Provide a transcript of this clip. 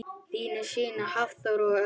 Þínir synir Hafþór og Örn.